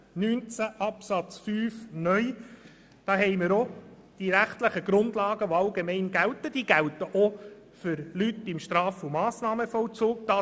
Zum Antrag zu Artikel 19 Absatz 5(neu): Die rechtlichen Grundlagen gelten hier allgemein, also auch für Leute, die sich im Straf- und Massnahmenvollzug befinden.